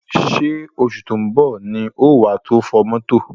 Ṣé oṣù tó ń bọ̀ ni wà tó fọ̀ mọ́tò?